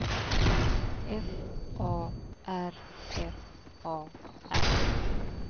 F A R F A R